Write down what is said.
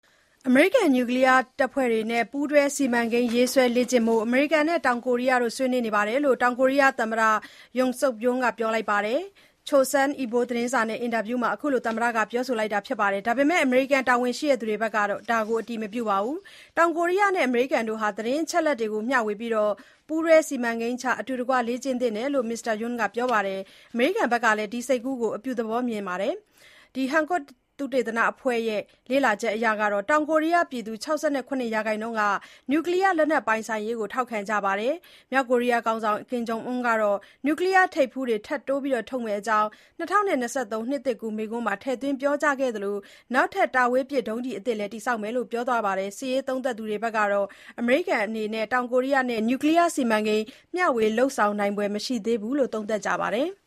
အမေရိကန် နျူကလီယားတပ်ဖွဲ့တွေနဲ့ ပူးတွဲစီမံကိန်း ရေးဆွဲလေ့ကျင့်ရေး အမေရိကန်နဲ့ တောင်ကိုရီးယားတို့ ဆွေးနွေးနေတယ်လို့ တောင်ကိုရီးယားသမ္မတ Yoon Suk Yeol က ပြောပါတယ်။ Chosun Ilbo သတင်းစာနဲ့အင်တာဗျူးမှာ မစ္စတာ Yoon Suk Yeol က အခုလို ပြောတာပါ။ ဒါပေမဲ့ အမေရိကန်တာဝန်ရှိသူတွေကတော့ ဒါကို အတည်မပြုသေးပါဘူး။ တောင်ကိုရီးယားနဲ့အမေရိကန်တို့ဟာ သတင်းအချက်အလက်တွေကိုမျှဝေပြီး ပူးတွဲ စီမံကိန်းချ၊ အတူတကွ လေ့ကျင့်သင့်တယ်လို့ မစ္စတာယွန်းက ပြောပါတယ်။ အမေရိကန်ကလည်း ဒီ စိတ်ကူးကို အပြုသဘောမြင်တယ်လို့ ဆိုပါတယ်။ Hankook သုတေသနအဖွဲ့ရဲ့ လေ့လာချက်အရ တောင်ကိုရီးယားပြည်သူ ၆၇ % က နျူကလီယားလက်နက်ပိုင်ဆိုင်ရေး ကို ထောက်ခံကြပါတယ်။ မြောက်ကိုရီးယားခေါင်းဆောင် ကင်ဂျုံအွန်းကတော့ နျူကလီယားထိပ်ဖူးတွေ ထပ်တိုးထုတ်မယ့်အကြောင်း ၂၀၂၃ နှစ်သစ်ကူးမိန့်ခွန်းမှာ ထည့်သွင်းပြောကြားခဲ့သလို နောက်ထပ် တာဝေးပစ် ဒုံးကျည်အသစ်လည်း တည်ဆောက်မယ်လို့ ပြောသွားခဲ့ပါတယ်။ စစ်ရေး သုံးသပ်သူတွေကတော့ အမေရိကန်အနေနဲ့ တောင်ကိုရီးယားနဲ့ နျူကလီယား စီမံကိန်းမျှဝေလုပ်ဆောင်နိုင်ဖွယ်မရှိသေးဘူးလို့ သုံးသပ်ကြပါတယ်။